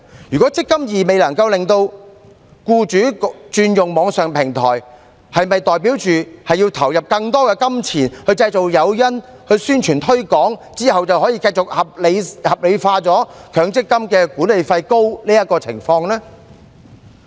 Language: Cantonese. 如果"積金易"能令僱主轉用網上平台，是否代表要投入更多金錢製造誘因和宣傳推廣，之後便可以繼續合理化強積金計劃管理費高昂的情況呢？